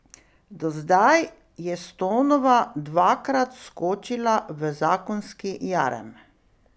Do zdaj je Stonova dvakrat skočila v zakonski jarem.